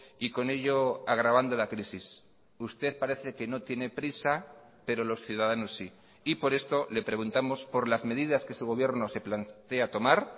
y con ello agravando la crisis usted parece que no tiene prisa pero los ciudadanos sí y por esto le preguntamos por las medidas que su gobierno se plantea tomar